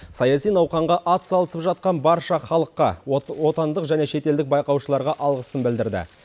саяси науқанға атсалысып жатқан барша халыққа отандық және шетелдік байқаушыларға алғысын білдірді